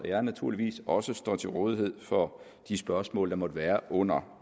jeg naturligvis også står til rådighed for de spørgsmål der måtte være under